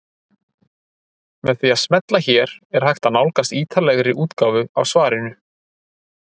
Með því að smella hér er hægt að nálgast ítarlegri útgáfu af svarinu.